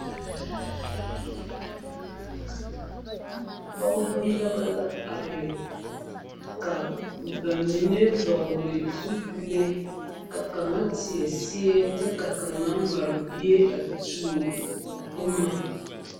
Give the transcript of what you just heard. pogeba yaga la a are ka bamine vɔgle zupili ka kaŋ teɛ seɛ kyɛ ka kaŋa mare bie a tuo boma.